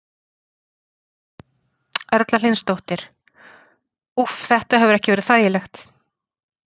Erla Hlynsdóttir: Úff, þetta hefur ekki verið þægilegt?